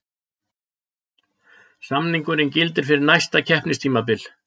Samningurinn gildir fyrir næsta keppnistímabil